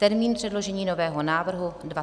Termín předložení nového návrhu 20 dnů.